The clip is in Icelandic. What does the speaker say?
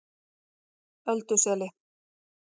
Ölduseli